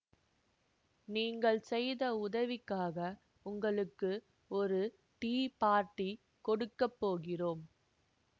நீங்கள் செய்த உதவிக்காக உங்களுக்கு ஒரு டீ பார்ட்டி கொடுக்க போகிறோம்